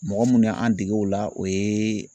Mɔgɔ munnu y'an dege o la o yeee